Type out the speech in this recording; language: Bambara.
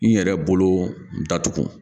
N yɛrɛ bolo datugu